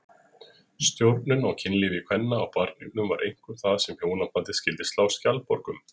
Stjórnun á kynlífi kvenna og barneignum var einkum það sem hjónabandið skyldi slá skjaldborg um.